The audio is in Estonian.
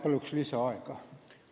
Palun lisaaega!